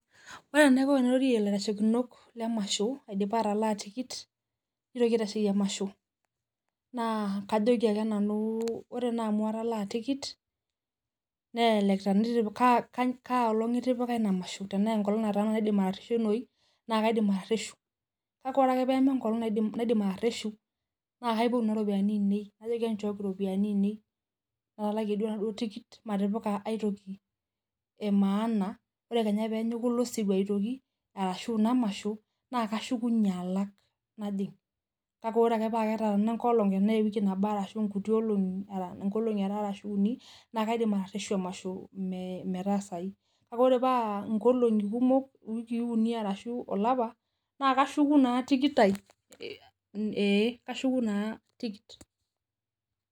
Ore enaiko tenairorie ilaitashekinot lemasho aidipa atalaa tikit, nitoki aitasheyie emasho naa kajoki ake nanuu, ore naa amu atalaa tikit, kaa olong itipika Ina masho, tenaa enkolong', taa naidim atareshunoyu, naa kaidim atareshu. kake ore ake pee menkolong. naidim atareshu, naa kaipotu Kuna ropiyiani ainei, najoki enchooki iropiyiani ainei, natalakie duoo enaduoo tikit, matipila aitoki emaana ore Kenya peenyiku ilo sirua aitoki, ashu Ina masho naa kashukunye alaj, najing. kake ore ake paa ketaana enkolong' naa ewiii nabo aata ashu nkuti olong'i, nkolong'i are ashu uni, naa kaidim atareshu emasho enye tine, metaasayu, kake ore paa nkolong'i kumok iwikii unu ashu olapa, naa kashuku naa tikit ai ee kashuku naa tikit.